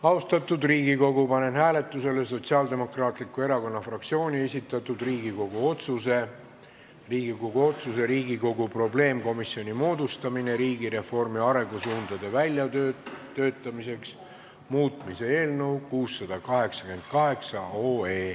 Austatud Riigikogu, panen hääletusele Sotsiaaldemokraatliku Erakonna fraktsiooni esitatud Riigikogu otsuse "Riigikogu otsuse "Riigikogu probleemkomisjoni moodustamine riigireformi arengusuundade väljatöötamiseks" muutmine" eelnõu 688.